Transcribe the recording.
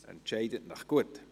Entscheiden Sie sich gut!